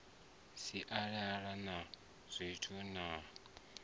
si sale na tshithu na